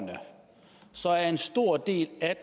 det er